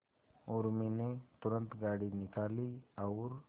उर्मी ने तुरंत गाड़ी निकाली और